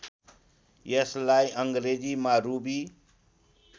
यसलाई अङ्ग्रेजीमा रुबी